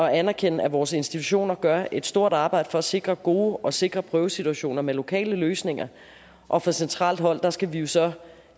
anerkende at vores institutioner gør et stort arbejde for at sikre gode og sikre prøvesituationer med lokale løsninger og fra centralt hold skal vi jo så